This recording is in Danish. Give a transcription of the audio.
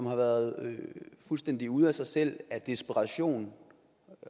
har været fuldstændig ude af sig selv af desperation